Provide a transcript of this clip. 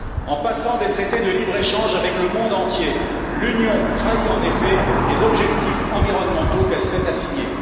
En passant des traités de libre échange avec le monde entier, l'Union trahit, en effet, les objectifs environnementaux qu'elle s'est assignée.